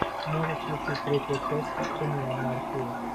можешь включить третья часть сыны анархии